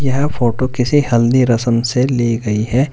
यह फोटो किसी हल्दी रसम से ली गई है।